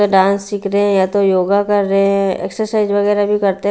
या डांस सिख रहे हैं या तो योगा कर रहे हैं एक्सरसाइज वगैरा भी करते--